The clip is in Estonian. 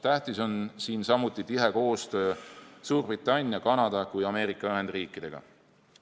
Tähtis on siin samuti tihe koostöö nii Suurbritannia, Kanada kui ka Ameerika Ühendriikidega.